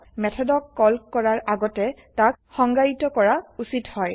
মেথডক call কৰাৰ আগতে তাক সংজ্ঞায়িত কৰা উছিত হয়